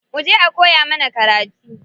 Muje a koya mana karatu.